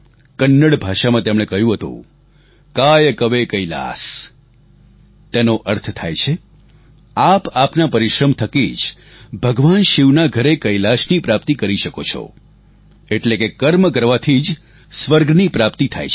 કન્નડ ભાષામાં તેમણે કહ્યું હતું કાય કવે કૈલાસ તેનો અર્થ થાય છે આપ આપના પરિશ્રમ થકી જ ભગવાન શિવના ઘરે કૈલાશની પ્રાપ્તિ કરી શકો છો એટલે કે કર્મ કરવાથી જ સ્વર્ગની પ્રાપ્તિ થાય છે